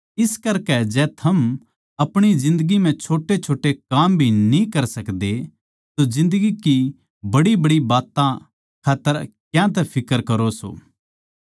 इस करकै जै थम अपणी जिन्दगी म्ह छोटेछोटे काम भी न्ही कर सकदे तो जिन्दगी की बड़ीबड़ी बात्तां खात्तर क्यातै फिक्र करो सो